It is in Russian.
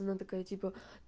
она такая типа